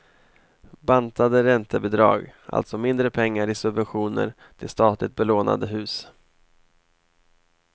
Bantade räntebidrag, alltså mindre pengar i subventioner till statligt belånasde hus.